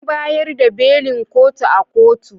An bayar da belin kotu a kotu.